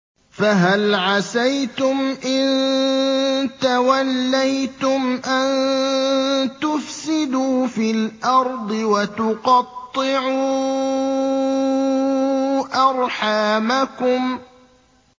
فَهَلْ عَسَيْتُمْ إِن تَوَلَّيْتُمْ أَن تُفْسِدُوا فِي الْأَرْضِ وَتُقَطِّعُوا أَرْحَامَكُمْ